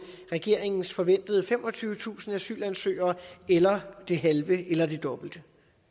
regeringens forventede femogtyvetusind asylansøgere eller det halve eller det dobbelte